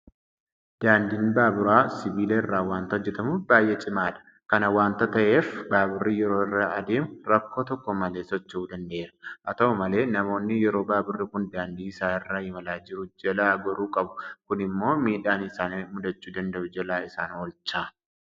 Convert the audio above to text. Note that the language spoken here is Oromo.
Daandiin baaburaa sibiila irraa waanta hojjetamuuf baay'ee cimaadha. Kana waanta ta'eef baaburri yeroo irra adeemu rakkoo tokko malee socho'uu danda'eera. Haata'u malee namoonni yeroo baaburri kun daandii isaa irra imalaa jiru jalaa goruu qabu. Kun immoo miidhaa isaan mudachuu danda'u jalaa isaan oolcha.